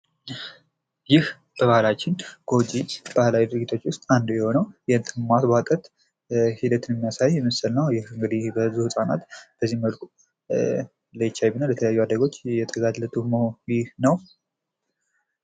ይህ በምስሉ ላይ ይምናየው ጎጂ ከሆኑት ባህላዊ ድርጊቶች መካከል አንዱ የሆነው የእንጥል ማስቧጠጥ ድርጊት ነው። እና የተለያዩ ህጻናት በዚህ መልኩ ለኤቻይቪ እና ለተለያዩ በሽታዎች እየተጋላጡ መሆኑ ነው።